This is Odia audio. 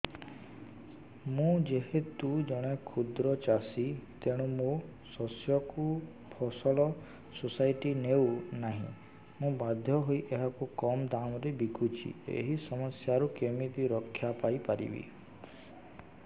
ମୁଁ ଯେହେତୁ ଜଣେ କ୍ଷୁଦ୍ର ଚାଷୀ ତେଣୁ ମୋ ଶସ୍ୟକୁ ଫସଲ ସୋସାଇଟି ନେଉ ନାହିଁ ମୁ ବାଧ୍ୟ ହୋଇ ଏହାକୁ କମ୍ ଦାମ୍ ରେ ବିକୁଛି ଏହି ସମସ୍ୟାରୁ କେମିତି ରକ୍ଷାପାଇ ପାରିବି